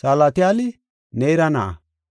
Salatiyaali Neera na7a,